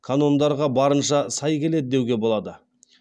канондарға барынша сай келеді деуге болады